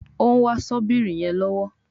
òún wá Ṣọ́bìrì yén lọwọ